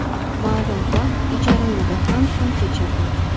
Ma’lum vaqt ijara uyda ham kun kechirdik.